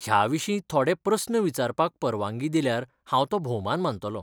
ह्या विशीं थोडे प्रस्न विचारपाक परवानगी दिल्यार हांव तो भौमान मानतलों.